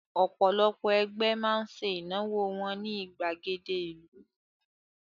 Ọ̀pọ̀lọpọ̀ ẹgbẹ́ máa ń ṣe ìnáwó wọn ní ìgbàgede ìlú